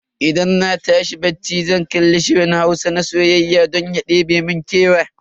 Idan na tashi bacci zan kalli shirin Hausa na soyayya don ya ɗebe mun kewa.